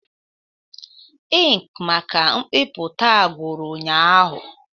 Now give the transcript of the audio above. Inki maka mbipụta gwụru ụnyahụ.